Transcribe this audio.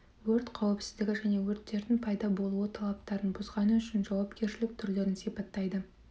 өрт қауіпсіздігі және өрттердің пайда болуы талаптарын бұзғаны үшін жауапкершілік түрлерін сипаттайды